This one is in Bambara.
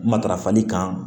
Matarafali kan